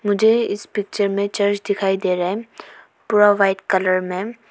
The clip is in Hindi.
मुझे इस पिक्चर में चर्च दिखाई दे रहा है पूरा व्हाइट कलर में।